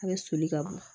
A bɛ soli ka bɔ